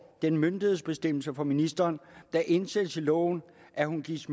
bemyndigelsesbestemmelse fra ministeren der indsættes i loven at hun gives